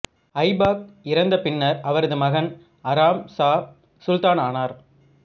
ஐபாக் இறந்த பின்னர் அவரது மகன் அராம் சா சுல்தானானார்